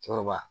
Cɔkɔrɔba